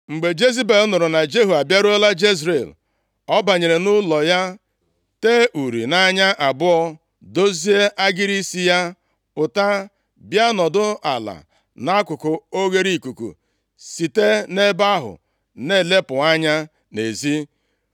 Mgbe Jezebel nụrụ na Jehu abịaruola Jezril, ọ banyere nʼụlọ ya, tee uri nʼanya abụọ, dozie agịrị isi ya, pụta bịa nọdụ ala nʼakụkụ oghereikuku, site nʼebe ahụ na-elepụ anya nʼezi.